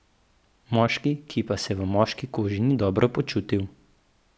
Moški, ki pa se v moški koži ni dobro počutil.